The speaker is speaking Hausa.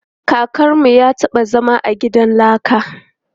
Kakanmu ya taɓa zama a gidan laka.